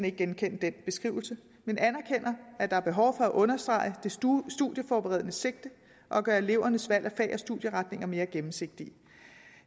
ikke genkende den beskrivelse men anerkender at der er behov for at understrege det studieforberedende sigte og gøre elevernes valg af fag og studieretninger mere gennemsigtige